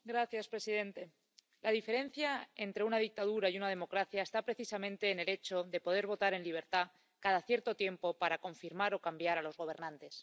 Señor presidente, la diferencia entre una dictadura y una democracia está precisamente en el hecho de poder votar en libertad cada cierto tiempo para confirmar o cambiar a los gobernantes.